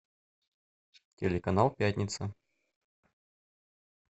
телеканал пятница